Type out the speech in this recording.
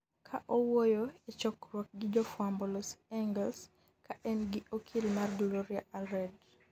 ka owuoyo e chokruok gi jofwambo Los Angeles ka en gi okil mare Gloria Allred